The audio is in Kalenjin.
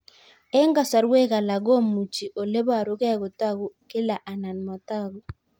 Eng' kasarwek alak komuchi ole parukei kotag'u kila anan matag'u